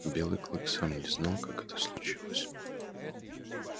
белый клык сам не знал как это случилось